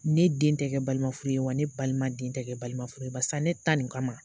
Ne den tɛ kɛ balima furu ye, wa ne balima den tɛ kɛ balima furu ye, barisa ne tan nin kama